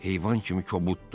Heyvan kimi kobuddur.